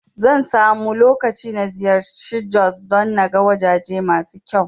Zan samu lokaci na ziyarci Jos don naga wajaje masu kyau